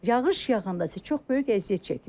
Yağış yaqanda su çox böyük əziyyət çəkirik.